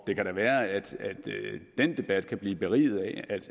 det kan da være at den debat kan blive beriget af